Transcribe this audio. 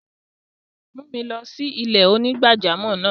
Mù mi lọ sí ilẹ̀-onígbàjàmọ́ náà!